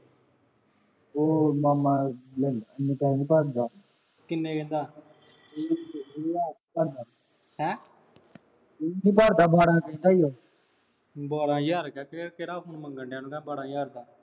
ਓਹ ਮਾਮਾ । ਕਿੰਨੇ ਦਾ। ਵੀਹ ਦਾ। ਹੈਂ। ਵੀਹ ਹਜ਼ਾਰ ਦਾ ਬਾਰਾਂ ਕਹਿੰਦਾ ਸੀ ਓਹੋ । ਬਾਰਾਂ ਹਜ਼ਾਰ ਦਾ ਕਹਿ ਕਿਹੜਾ phone ਮੰਗਣ ਡਿਆ ਤੂੰ ਬਾਰਾਂ ਹਜ਼ਾਰ ਦਾ।